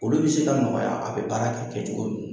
Olu be se k'a nɔgɔya, a bɛ baara ka kɛ cogo min na.